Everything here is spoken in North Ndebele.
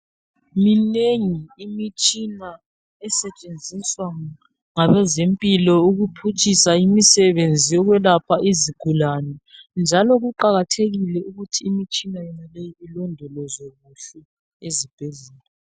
Minengi imitshina esetshenziswa ngabezempilo ukuphutshisa imisebenzi yokwelapha izigulane njalo kuqakathekile ukuthi imitshina yonaleyi ilondolozwe kuhle ezibhedlela.